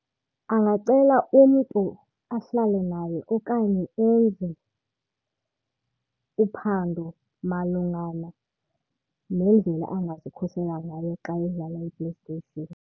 Angacela umntu ahlale naye okanye enze uphando malungana neendlela angazikhusela ngayo xa edlala iPlayStation.